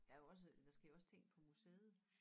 Der jo også der sker jo også ting på museet